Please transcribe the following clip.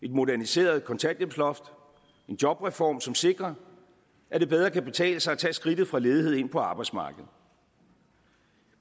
et moderniseret kontanthjælpsloft en jobreform som sikrer at det bedre kan betale sig at tage skridtet fra ledighed ind på arbejdsmarkedet